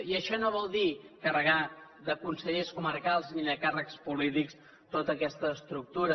i això no vol dir carregar de consellers comarcals ni de càrrecs polítics tota aquesta estructura